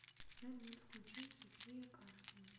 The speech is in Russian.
салют включи софия карсон